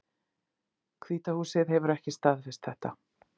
Hvíta húsið hefur ekki staðfest þetta